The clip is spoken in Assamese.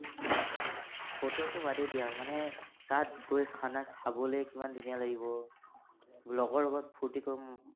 ফটোটো বাদেই দিয়া মানে তাত গৈ খানা খাবলৈ কিমান ধুনীয়া লগৰ লগত ফুৰ্তী কৰিম